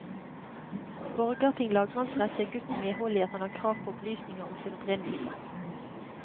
Borgarting lagmannsrett gir gutten medhold i at han har krav på opplysninger om sin opprinnelse.